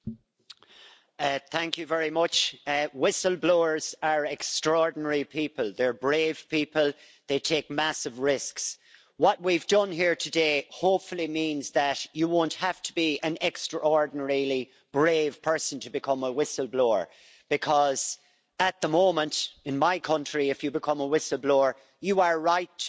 Madam President, whistle-blowers are extraordinary people. They're brave people. They take massive risks. What we've done here today hopefully means that you won't have to be an extraordinarily brave person to become a whistle-blower because, at the moment, in my country, if you become a whistle-blower, you are right to be afraid.